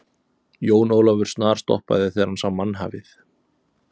Jón Ólafur snarstoppaði þegar hann sá mannhafið.